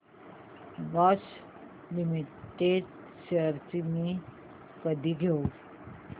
Bosch limited shares मी कधी घेऊ